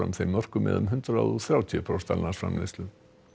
þeim mörkum eða um hundrað og þrjátíu prósent að landsframleiðslu